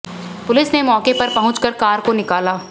police ने मौके पर पहुंच कर कार को निकाला